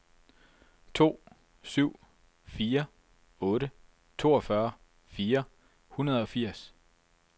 to syv fire otte toogfyrre fire hundrede og firs